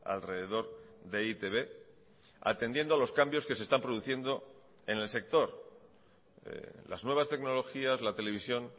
alrededor de e i te be atendiendo a los cambios que se están produciendo en el sector las nuevas tecnologías la televisión